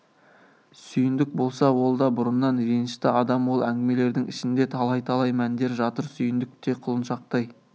сүйіндік болса ол да бұрыннан ренішті адам ол әңгімелердің ішінде талай-талай мәндер жатыр сүйіндік те құлыншақтай